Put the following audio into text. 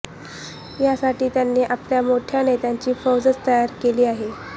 यासाठी त्यांनी आपल्या मोठया नेत्यांची फौजच तयार केली आहे